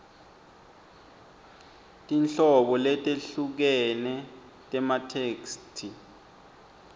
tinhlobo letehlukene tematheksthi